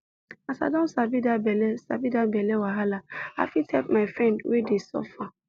as i don sabi that belle sabi that belle wahala i fit help my friend wey dey suffer